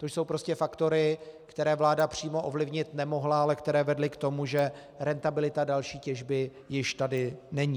To jsou prostě faktory, které vláda přímo ovlivnit nemohla, ale které vedly k tomu, že rentabilita další těžby tady již není.